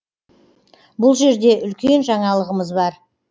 бұл жерде үлкен жаңалығымыз бар